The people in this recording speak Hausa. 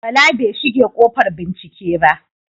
Bala bai shige ƙofar bincike ba.